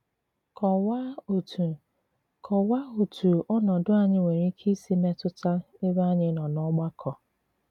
Kọ̀wàà òtù Kọ̀wàà òtù ònòdù ànyị̀ nwere ìkè ìsì mètùtà èbé ànyị̀ nọ n'ọ̀gbàkọ.